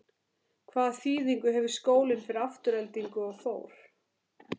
Hvaða þýðingu hefur skólinn fyrir Aftureldingu og Þór?